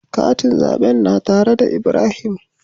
Katin zaɓen na tare da Ibrahim.